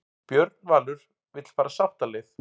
Björn Valur vill fara sáttaleið